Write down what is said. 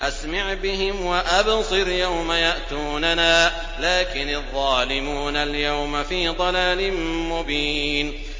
أَسْمِعْ بِهِمْ وَأَبْصِرْ يَوْمَ يَأْتُونَنَا ۖ لَٰكِنِ الظَّالِمُونَ الْيَوْمَ فِي ضَلَالٍ مُّبِينٍ